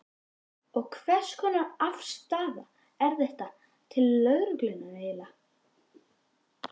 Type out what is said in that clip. Og hvers konar afstaða er þetta til lögreglunnar eiginlega?